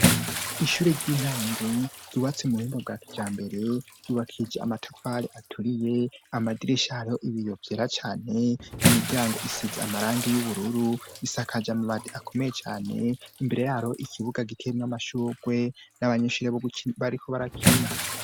Ishure ry'intango ryubatse mu buhinga bwa kijambere, ryubakishije amatafari aturiye ,amadirisha hariho ibiyo vyera cane ,n'imiryango isize amarangi y'ubururu ,bisakaje amabati akomeye cane, imbere hariho ikibuga giteyemwo amashurwe, n'abanyeshure bariko barakina.